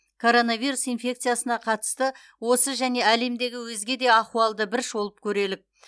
коронавирус инфекциясына қатысты осы және әлемдегі өзге де ахуалды бір шолып көрелік